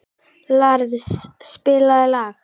Lars, spilaðu lag.